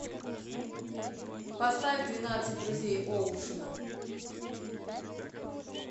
поставь двенадцать друзей оушена